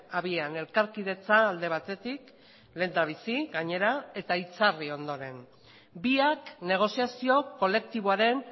abian elkarkidetza alde batetik lehendabizi gainera eta itzarri ondoren biak negoziazio kolektiboaren